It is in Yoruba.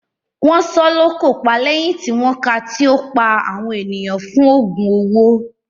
Wọ́n sọ ọ́ lókò pa lẹ́yìn tí wọ́n ká a tí ó pa àwọn ènìyàn fún òògùn owó.